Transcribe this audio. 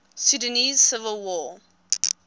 sudanese civil war